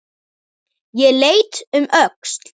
Ég leit um öxl.